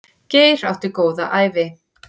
Geir átti góða ævi.